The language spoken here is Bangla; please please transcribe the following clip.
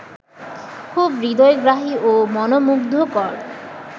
খুব হৃদয়গ্রাহী ও মনোমুগ্ধকর